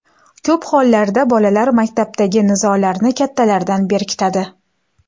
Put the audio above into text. Ko‘p hollarda bolalar maktabdagi nizolarni kattalardan berkitadi.